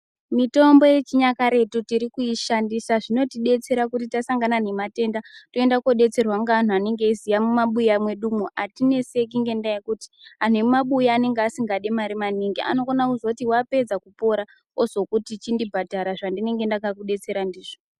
Mitombo yechinyakare titurikuishandisa. Zvinotibetsera kuti tasangana nematenda, tonda kobetserwa ngevanhu vanengeziya mumabuya medu umu. Hatinetseki ngendaba yekuti anemabuya anenge asingadi mari maningi, anokona kuzoti wapedza kupora ozokuti chindibhadhara zvandinenge ndakakubetsera ndizvo.